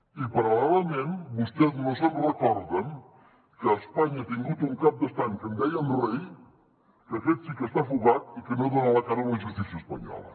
i paral·lelament vostès no se’n recorden que espanya ha tingut un cap d’estat que en deien rei que aquest sí que està fugat i que no dona la cara a la justícia espanyola